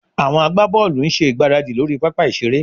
Àwọn agbábọ́ọ̀lù ń ṣe ìgbáradì lórí pápá ìṣeré